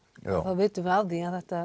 við vitum af því að þetta